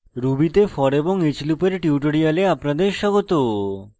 ruby তে for এবং each লুপের tutorial আপনাদের স্বাগত